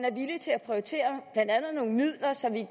prioritere blandt andet nogle midler så vi